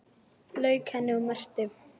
Lauk henni og merkti.